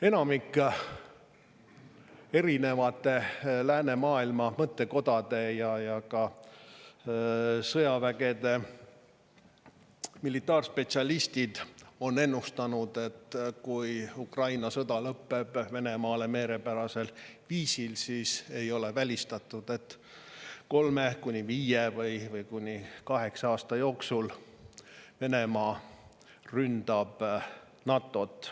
Enamik erinevate läänemaailma mõttekodade ja ka sõjavägede militaarspetsialiste on ennustanud, et kui Ukraina sõda lõpeb Venemaale meelepärasel viisil, siis ei ole välistatud, et kolme kuni viie või kuni kaheksa aasta jooksul Venemaa ründab NATO-t.